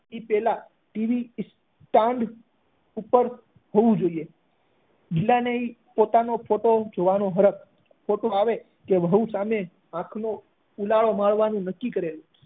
તે પહેલા TV stand ઉપર હોવું જોઈએ ગિલા ને એ પોતાનો ફોટો જોવાનો હરખ ફોટો આવે અને વહુ સામે આંખ નો ફૂલારો મારવાનું નક્કી કરેલું